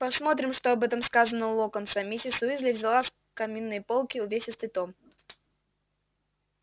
посмотрим что об этом сказано у локонса миссис уизли взяла с каминной полки увесистый том